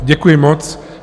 Děkuji moc.